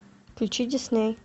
включи дисней